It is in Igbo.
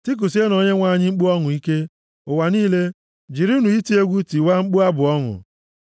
Tikusienụ Onyenwe anyị mkpu ọṅụ ike, ụwa niile jirinụ iti egwu tiwaa mkpu abụ ọṅụ;